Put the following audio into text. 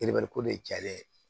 ko de cayalen ye